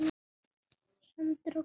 Sandur og gras.